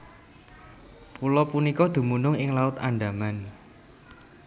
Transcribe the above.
Pulo punika dumunung ing Laut Andaman